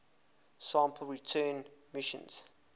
sample return missions